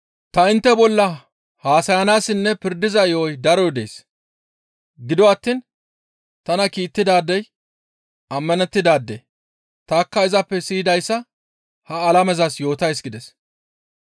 Ta intte bolla haasayanayssinne pirdiza yo7oy daroy dees. Gido attiin tana kiittidaadey ammanettidaade; tanikka izappe siyidayssa ha alamezas yootays» gides.